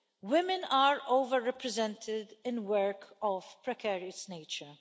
Women are over represented in work of precarious nature.